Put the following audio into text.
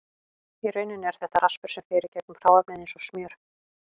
Í rauninni er þetta raspur sem fer í gegnum hráefnið eins og smjör.